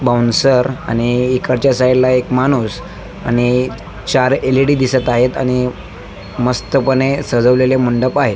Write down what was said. Bouncer आणि इकडच्या साइडला एक माणूस आणि चार एल.ई.डी दिसत आहेत आणि मस्तपणे सजवलेले मंडप आहे.